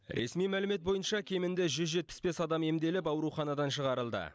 ресми мәлімет бойынша кемінде жүз жетпіс бес адам емделіп ауруханадан шығарылды